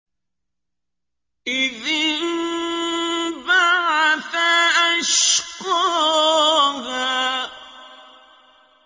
إِذِ انبَعَثَ أَشْقَاهَا